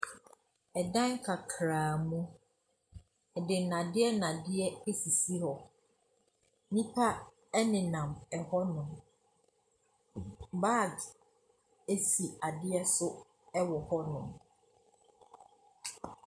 Ɛdan kakra mu. Yɛde nnadeɛ nnadeɛ esisi hɔ. Nnipa ɛnenam ɛhɔ nom. Baags esi adeɛ so ɛwɔ hɔ nom.